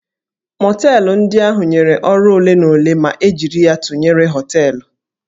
Mọteelụ ndị ahụ nyere ọrụ ole na ole ma e jiri ya tụnyere hóteélụ̀